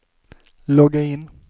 logga in